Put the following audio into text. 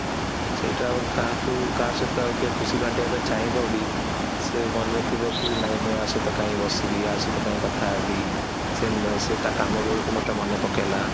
seat ଆଉ କାହାକୁ କାହା ସହିତ ଖୁସି ବାଣ୍ଟିବା ପାଇଁ ଚାହିଁବବି ସେ ମନରେଥିବ କି ନାହିଁ ମୁଁ କାଇଁ ବସିବି ସହିତ କାଇଁ କଥା ହେବି ସେତା କାମ ବେଳକୁ ମତେ ମାନେ ପକେଇଲା